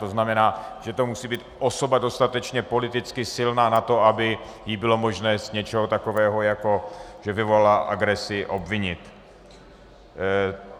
To znamená, že to musí být osoba dostatečně politicky silná na to, aby ji bylo možné z něčeho takového, jako že vyvolá agresi, obvinit.